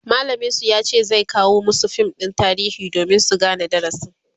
mallamin su yace zai kawo masu fim ɗin tarihi domin su Gane darasin